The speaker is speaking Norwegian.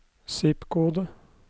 zip-kode